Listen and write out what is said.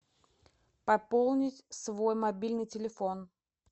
пополнить свой мобильный телефон